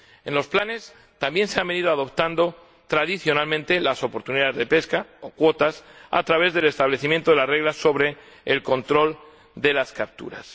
En los planes también se han venido adoptando tradicionalmente las oportunidades de pesca, o cuotas, a través del establecimiento de las reglas sobre el control de las capturas.